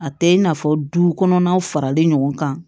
A tɛ i n'a fɔ du kɔnɔnaw faralen ɲɔgɔn kan